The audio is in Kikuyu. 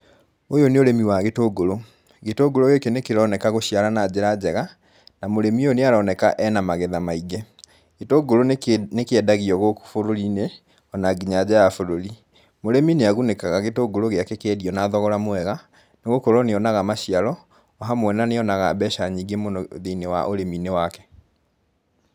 Ũyũ nĩ ũrĩmi wa gĩtũngũrũ. Gĩtũngũrũ gĩkĩ nĩ kĩroneka gũciara na njĩra njega, na mũrĩmĩ ũyũ nĩ aroneka e na magetha maingĩ. Gĩtũngũrũ nĩ kĩendagio gũkũ bũruri-inĩ, o na nginya nja wa bũrũri. Murĩmi nĩ agunĩkaga gĩtũngũrũ gĩake kĩendio na thogora mwega, nĩ gũkorwo nĩ onaga maciaro, hamwe na nĩonaga mbeca nyingĩ mũno thĩinĩ wa ũrĩmi-inĩ wake.